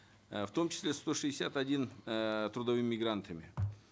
э в том числе сто шестьдесят один эээ трудовыми мигрантами